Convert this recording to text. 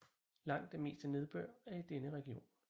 Langt det meste nedbør er i denne region